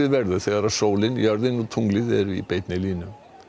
verður þegar sólin jörðin og tunglið eru í beinni línu